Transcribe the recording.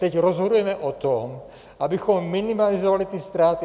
Teď rozhodujeme o tom, abychom minimalizovali ty ztráty.